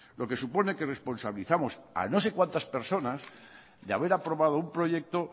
lo que supone que responsabilizamos a no sé cuantas personas de haber aprobado un proyecto